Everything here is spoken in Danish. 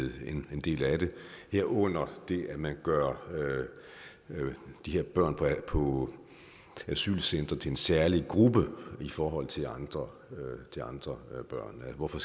en del af det herunder at man gør børn på asylcentre til en særlig gruppe i forhold til andre andre børn hvorfor